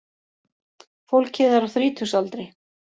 Fólkið er á þrítugsaldri